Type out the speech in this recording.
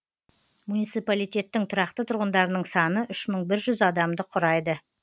муниципалитеттің тұрақты тұрғындарының саны үш мың бір жүз адамды құрайды